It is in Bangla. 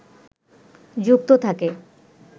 যুক্ত থাকে